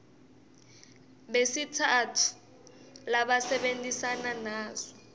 besitsatfu labasebentisana naso